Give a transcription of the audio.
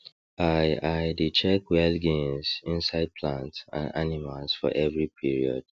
i i dey check well gains inside plants and animals for every period